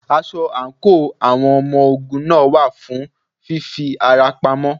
Aṣọ àǹkóò àwọn ọmọ ogun náà wà fún fí fi ara pamọ́.